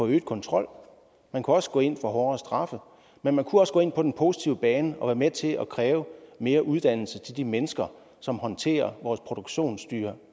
øget kontrol man kunne også gå ind for hårdere straffe men man kunne også gå ind på den positive bane og være med til at kræve mere uddannelse til de mennesker som håndterer vores produktionsdyr